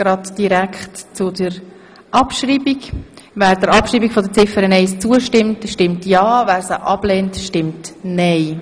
Wer Ziffer eins abschreiben möchte, stimmt ja, wer dies ablehnt, stimmt nein.